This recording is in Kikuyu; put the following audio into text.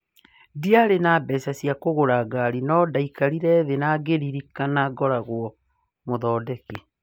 "Ndĩari na mbeca cia kũgũra ngari no ndekarire thĩĩ na ngĩrĩrikana ngoragwo mũthondeki